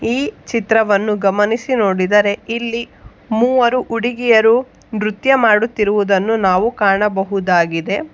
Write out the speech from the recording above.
ಈ ಚಿತ್ರವನ್ನು ಗಮನಿಸಿ ನೋಡಿದರೆ ಇಲ್ಲಿ ಮೂವರು ಹುಡಗಿಯರು ನೃತ್ಯ ಮಾಡುತ್ತಿರುವದನ್ನು ನಾವು ಕಾಣಬಹುದಾಗಿದೆ.